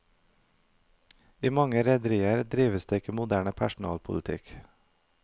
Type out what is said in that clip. I mange rederier drives det ikke moderne personalpolitikk.